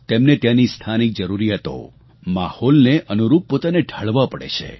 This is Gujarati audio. તેમને ત્યાંની સ્થાનિક જરૂરિયાતો માહોલને અનુરૂપ પોતાને ઢાળવા પડે છે